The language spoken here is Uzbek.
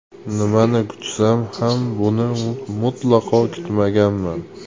Nimani kutsam ham, buni mutlaqo kutmaganman.